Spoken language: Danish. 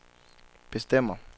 bestemmer